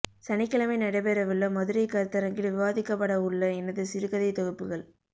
சனிக்கிழமை நடைபெற உள்ள மதுரை கருத்தரங்கில் விவாதிக்கப்பட உள்ள எனது சிறுகதைதொகுப்புகள்